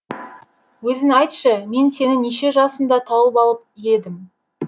өзің айтшы мен сені неше жасыңда тауып алып едім